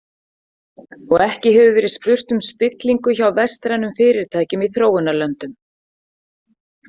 Og ekki hefur verið spurt um spillingu hjá vestrænum fyrirtækjum í þróunarlöndum.